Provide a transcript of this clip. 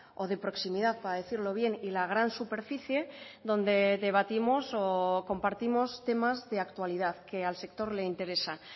o de proximidad para decirlo bien y la gran superficie donde debatimos o compartimos temas de actualidad que al sector le interesan